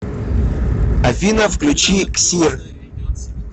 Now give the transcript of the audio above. афина включи ксир